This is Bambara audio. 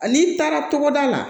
N'i taara togoda la